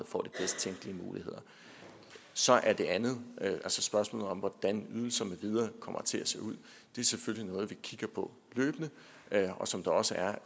får de bedst tænkelige muligheder så er det andet altså spørgsmålet om hvordan ydelser med videre kommer til at se ud selvfølgelig noget vi kigger på løbende og som der også er